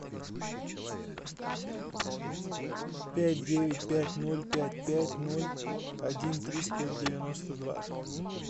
пять девять пять ноль пять пять ноль один триста девяносто два